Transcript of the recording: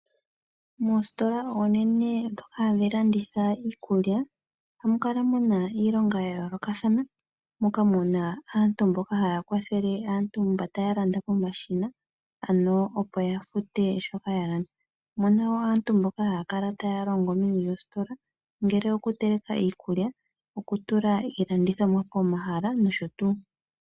Moositola oonene dhoka hadhi landitha iikulya ohamu kala muna iilonga yayoolokathana moka muna aantu mboka haya kwathele aantu mba taya landa pomashina ano opo yafute shoka yalanda, omuna woo aantu mboka haya kala taya longo meni lyositola ongele okuteleka iikulya, okutula iilandithomwa pomahala nosho tuu.